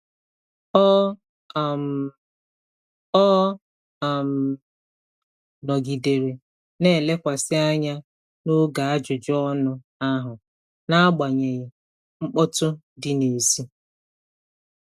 Ọ um Ọ um nọgidere na-elekwasị anya n'oge ajụjụ ọnụ ahụ, n'agbanyeghị mkpọtụ dị n'èzí.